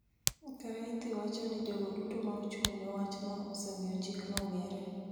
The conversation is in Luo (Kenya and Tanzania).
Kareithi wacho ni jogo duto ma ochung�ne wachno osemiyo chikno ong�ere